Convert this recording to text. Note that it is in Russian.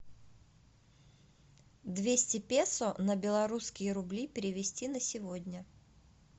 двести песо на белорусские рубли перевести на сегодня